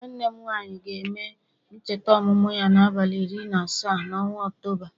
Nwanne m nwanyị ga-eme ncheta ọmụmụ ya n'abalị iri na asaa n'ọnwa Ọktoba